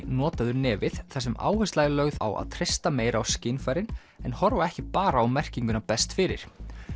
notaðu nefið þar sem áhersla er lögð á að treysta meira á skynfærin en horfa ekki bara á merkinguna best fyrir